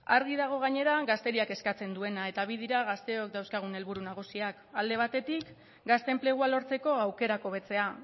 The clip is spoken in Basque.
argi dago gainera gazteriak eskatzen duena eta bi dira gazteok dauzkagun helburu nagusiak alde batetik gazte enplegua lortzeko aukerak hobetzea